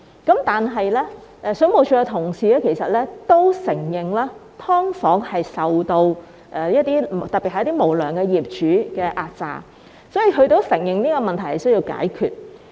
其實，水務署的同事都承認"劏房"租戶特別受到無良業主的壓榨，所以他們都承認這個問題需要解決。